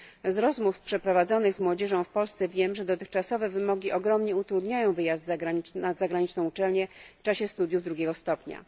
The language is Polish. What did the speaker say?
Z rozmów przeprowadzonych z młodzieżą w Polsce wiem, że dotychczasowe wymogi ogromnie utrudniają wyjazd na zagraniczną uczelnię w czasie studiów drugiego stopnia.